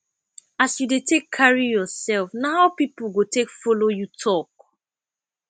as you dey take carry yourself na how pipo go take follow you talk